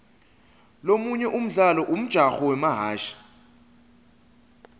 lomunye umdlalo umjaho wemahhashi